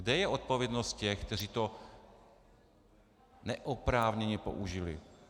Kde je odpovědnost těch, kteří to neoprávněně použili?